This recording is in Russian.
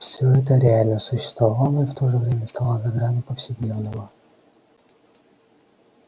всё это реально существовало и в то же время оставалось за гранью повседневного